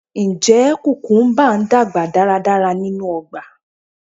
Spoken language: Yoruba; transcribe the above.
Njẹ kukumba n dagba daradara ninu ọgba?